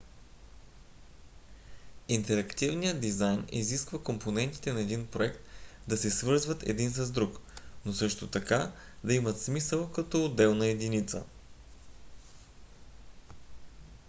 интерактивният дизайн изисква компонентите на един проект да се свързват един с друг но също така да имат смисъл като отделна единица